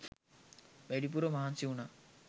වැඩිපුර මහන්සි වුණා.